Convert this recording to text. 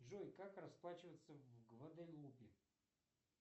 джой как расплачиваться в гваделупе